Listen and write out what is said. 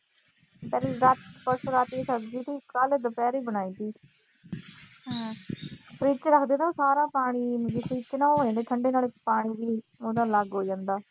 ਪਰਸੋਂ ਰਾਤੀਂ ਦੀ ਸਬਜੀ ਸੀ, ਕੱਲ੍ਹ ਦੁਪਹਿਰੇ ਬਣਾਈ ਸੀ। freeze ਚ ਰੱਖਦੇ ਆ ਨਾ ਸਾਰਾ ਪਾਣੀ, freeze ਚ ਉਹ ਹੋ ਜਾਂਦੇ ਆ ਠੰਡੇ ਤੇ ਪਾਣੀ ਵੀ ਉਹਦਾ ਅੱਲਗ ਹੋ ਜਾਂਦਾ।